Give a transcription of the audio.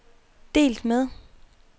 delt med